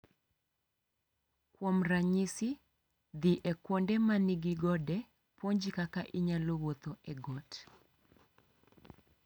Kuom ranyisi, dhi e kuonde ma nigi gode puonji kaka inyalo wuotho ​​e got.